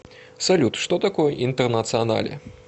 салют что такое интернационале